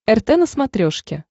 рт на смотрешке